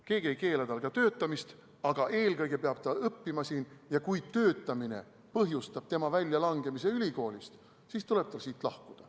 Keegi ei keela tal ka töötada, aga eelkõige peab ta siin õppima, ja kui töötamine põhjustab tema väljalangemise ülikoolist, siis tuleb tal siit lahkuda.